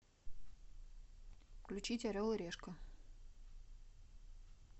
включить орел и решка